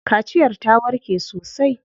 Kaciyar ta warke sosai.